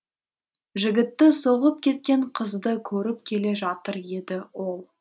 жігітті соғып кеткен қызды көріп келе жатыр еді ол